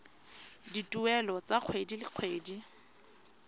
dituelo tsa kgwedi le kgwedi